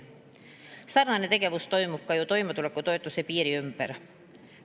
Sarnane tegevus toimub ju ka toimetulekutoetuse piiri ümber.